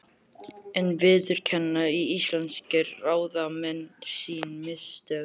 En viðurkenna íslenskir ráðamenn sín mistök?